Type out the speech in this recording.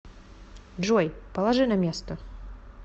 джой положи на место